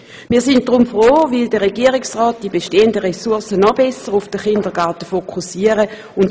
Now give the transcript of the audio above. Wir sind froh, dass der Regierungsrat die bestehenden Ressourcen noch besser auf den Kindergarten fokussieren will.